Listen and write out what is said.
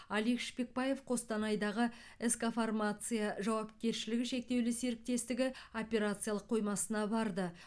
алик шпекбаев қостанайдағы сқ фармация жауапкершілігі шектеулі серіктестігі операциялық қоймасына барды